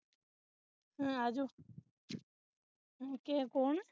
ਉਹ ਆਜੋ ਕੇ ਕੌਣ